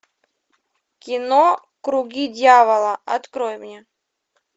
кино круги дьявола открой мне